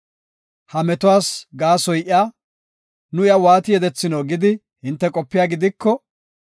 “Ha metuwas gaasoy iya, nu iya waati yedethino gidi hinte qopiya gidiko,